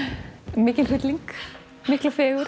mikinn hrylling mikla fegurð